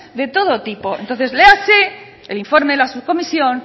de todo tipo entonces léase el informe de la subcomisión